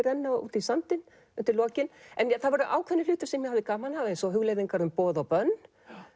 renna út í sandinn undir lokin en það voru ákveðnir hlutir sem ég hafði gaman af eins og hugleiðingar um boð og bönn